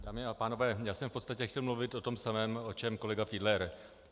Dámy a pánové, já jsem v podstatě chtěl mluvit o tom samém, o čem kolega Fiedler.